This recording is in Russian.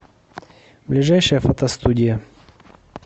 ближайшая фотостудия